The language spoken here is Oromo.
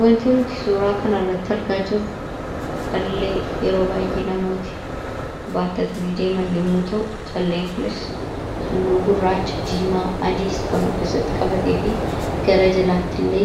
Wanti nuti suuraa kanarratti argaa jirru callee yeroo baay'ee namooti baattatanii deeman yommuu ta'u, calleen kunis halluu gurraacha, diimaa, adiis kan of keessatti qabatee fi gara jalaattillee